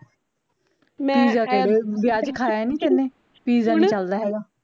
pizza ਕਿਹੜੇ ਵਿਆਹ ਚ ਖਾਇਆ ਨੀ ਤੇਨੇ pizza ਨੀ ਚੱਲਦਾ ਹੈਗਾ